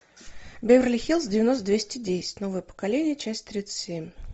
беверли хиллз девяносто двести десять новое поколение часть тридцать семь